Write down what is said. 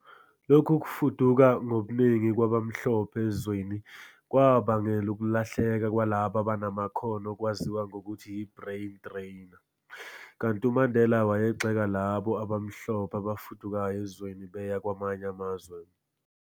Lokhu kufuduka ngobuningi kwabamhlophe ezweni, kwabangela ukulahleka kwalabo abanamakhono okwaziwa ngokuthi yi-brain drain, kanti uMandela wayegxeka labo abamhlophe abafudukayo ezweni beya kwamanye amazwe.